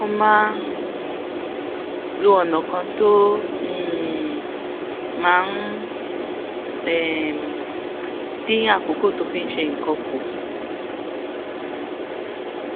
ó máa ń lo ònà kan tó um máa ń um dín àkókò tó fi ń ṣe nǹkan kù